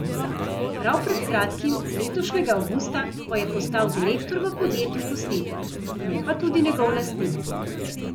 Prav pred kratkim, letošnjega avgusta, pa je postal direktor v podjetju Posnetek, ne pa tudi njegov lastnik.